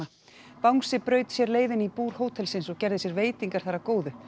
bangsi braut sér leið inn í búr hótelsins og gerði sér veitingar þar að góðu